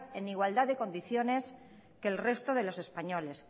en igualdad de condiciones que el resto de los españoles